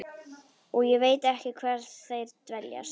Og ég veit ekki hvar þeir dveljast.